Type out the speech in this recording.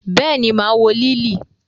Béèni, maa wo Liili.